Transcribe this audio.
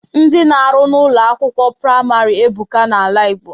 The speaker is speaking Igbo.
Ndị na-arụ n'Ụlọ akwụkwọ praịmarị ebuka n'ala Igbo